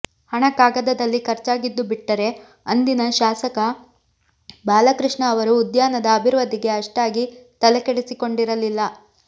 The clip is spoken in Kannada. ಹಣ ಕಾಗದದಲ್ಲಿ ಖರ್ಚಾಗಿದ್ದು ಬಿಟ್ಟರೆ ಅಂದಿನ ಶಾಸಕ ಬಾಲಕೃಷ್ಣ ಅವರು ಉದ್ಯಾನದ ಅಭಿವೃದ್ಧಿಗೆ ಅಷ್ಟಾಗಿ ತಲೆಕೆಡಿಸಿಕೊಂಡಿರಲಿಲ್ಲ